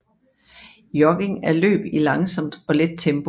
Jogging er løb i langsomt og let tempo